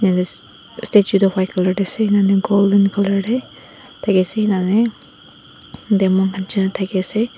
statue tho white color de ase eni hoina golden color de deki ase ena hoina daki ase.